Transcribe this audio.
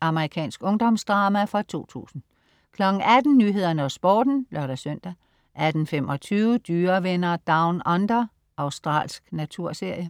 Amerikansk ungdomsdrama fra 2000 18.00 Nyhederne og Sporten (lør-søn) 18.25 Dyrevenner Down Under. Australsk naturserie